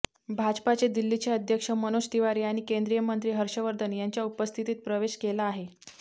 भाजपाचे दिल्लीचे अध्यक्ष मनोज तिवारी आणि केंद्रीय मंत्री हर्षवर्धन यांच्या उपस्थितीत प्रवेश केला आहे